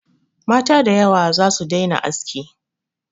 Mata da yawa za su daina aski.